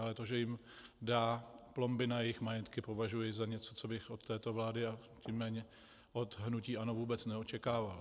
Ale to, že jim dá plomby na jejich majetky, považuji za něco, co bych od této vlády, a tím méně od hnutí ANO vůbec neočekával.